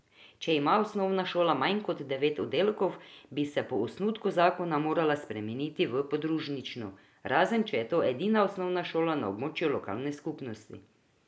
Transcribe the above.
Če ima osnovna šola manj kot devet oddelkov, bi se po osnutku zakona morala spremeniti v podružnično, razen če je to edina osnovna šola na območju lokalne skupnosti.